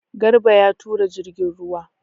Garba ya tura jirgin ruwa.